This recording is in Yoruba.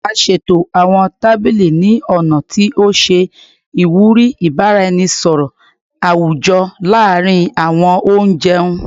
A ṣeto awọn tabili ni ọna ti o ṣe iwuri ibaraenisọrọ awujọ laarin awọn onjẹun